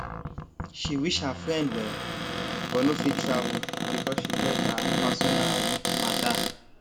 she wish her friend well but no fit travel because she get her personal matter